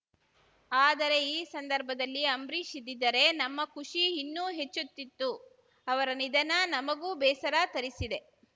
ಆದರೆ ಈ ಸಂದರ್ಭದಲ್ಲಿ ಅಂಬ್ರೀಷ್‌ ಇದ್ದಿದ್ದರೆ ನಮ್ಮ ಖುಷಿ ಇನ್ನೂ ಹೆಚ್ಚುತ್ತಿತ್ತು ಅವರ ನಿಧನ ನಮಗೂ ಬೇಸರ ತರಿಸಿದೆ